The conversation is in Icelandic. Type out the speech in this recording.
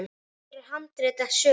Hér er handrit að sögu.